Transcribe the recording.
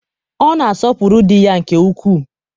ọ na-asọpụrụ di ya nke ukwuu.